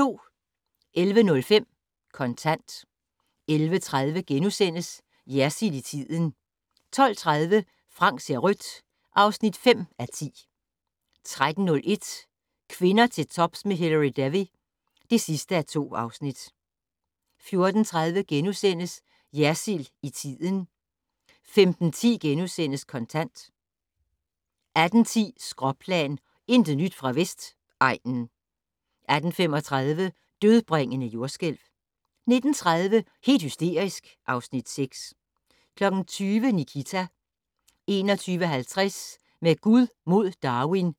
11:05: Kontant 11:30: Jersild i tiden * 12:30: Frank ser rødt (5:10) 13:01: Kvinder til tops med Hilary Devey (2:2) 14:30: Jersild i tiden * 15:10: Kontant * 18:10: Skråplan - intet nyt fra Vestegnen 18:35: Dødbringende jordskælv 19:30: Helt hysterisk (Afs. 6) 20:00: Nikita